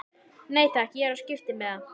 Nei takk, ég er á skiptimiða.